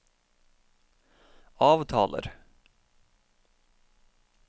avtaler